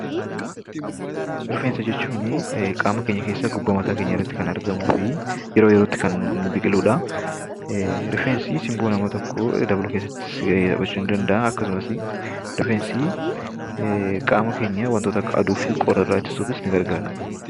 Rifeensa jechuun qaama keenya keessaa gubbaa mataa keenyaa irratti tti kan argamuu fi yeroo yerootti kan biqiluu dha. Rifeensi simboo nama tokkoo dabaluu keessattis gahee qabaachuu ni danda'a. Akkasumas, rifeensi qaama keenya wantoota akka aduu fi qorra irraa ittisuufis ni gargaara.